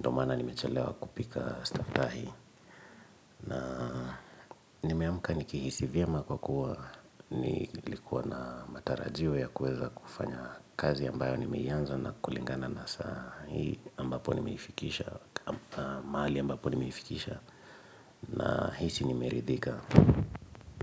ndomaana nimechelewa kupika stuff sahii na nimeamka nikihisi vyema kwa kuwa nilikuwa na matarajio ya kuweza kufanya kazi ambayo nimeianza na kulingana na saa Hii ambapo nimeifikisha, mahali ambapo nimeifikisha na hisi nimeridhika.